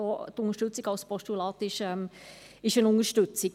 Auch die Unterstützung des Postulats ist eine Unterstützung.